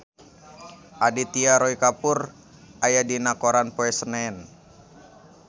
Aditya Roy Kapoor aya dina koran poe Senen